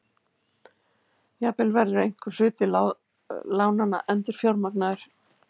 Jafnvel verður einhver hluti lánanna endurfjármagnaður